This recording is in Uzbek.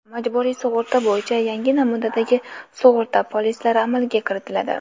Majburiy sug‘urta bo‘yicha yangi namunadagi sug‘urta polislari amalga kiritiladi.